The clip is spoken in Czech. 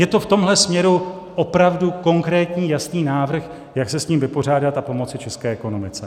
Je to v tomhle směru opravdu konkrétní, jasný návrh, jak se s tím vypořádat a pomoci české ekonomice.